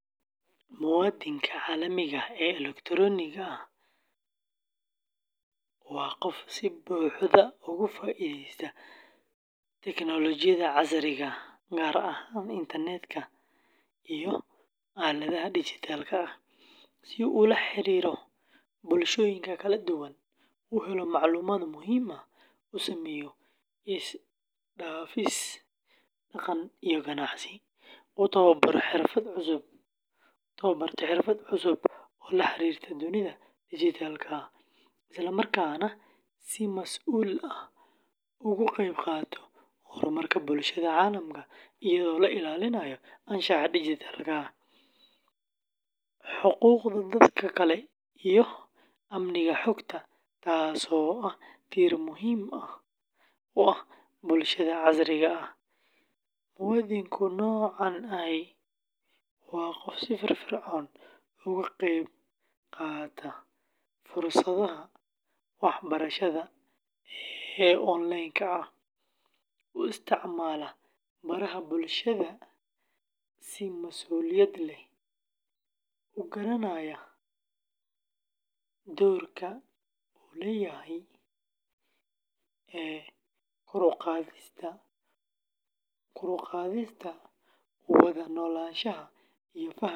Muwaadinka caalamiga ah ee elektaroonigga ah, oo loo yaqaan, waa qof si buuxda uga faa’iideysta teknoolojiyadda casriga ah, gaar ahaan internet-ka iyo aaladaha dijitaalka ah, si uu ula xiriiro bulshooyinka kala duwan, u helo macluumaadyo muhiim ah, u sameeyo isdhaafsi dhaqan iyo ganacsi, u tababarto xirfado cusub oo la xiriira dunida dijitaalka ah, isla markaana si masuul ah uga qayb qaata horumarka bulshada caalamka iyadoo la ilaalinayo anshaxa dijitaalka ah, xuquuqda dadka kale iyo amniga xogta, taasoo ah tiir muhiim u ah bulshada casriga ah; muwaadinka noocan ahi waa qof si firfircoon uga qayb qaata fursadaha waxbarasho ee onleenka ah, u isticmaala baraha bulshada si mas’uuliyad leh, u garanaya doorka uu leeyahay ee kor u qaadista wada noolaanshaha iyo fahamka dhaqamada kale.